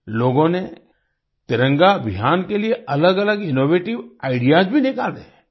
लोगों ने तिरंगा अभियान के लिए अलगअलग इनोवेटिव आईडीईएएस भी निकाले